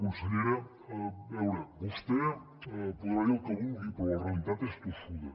consellera a veure vostè deu poder dir el que vulgui però la realitat és tossuda